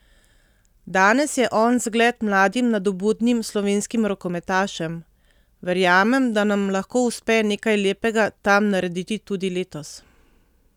Danes je on zgled mladim nadobudnim slovenskim rokometašem: "Verjamem, da nam lahko uspe nekaj lepega tam narediti tudi letos.